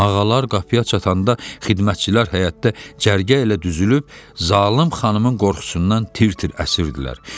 Ağalar qapıya çatanda xidmətçilər həyətdə cərgə ilə düzülüb zalım xanımın qorxusundan tir-tir əsirdilər.